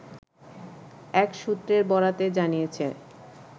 এক সূত্রের বরাতে জানিয়েছে